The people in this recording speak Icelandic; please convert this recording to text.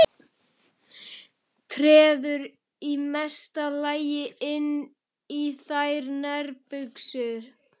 Treður í mesta lagi inn í þær nærbuxum.